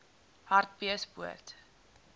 hartbeespoort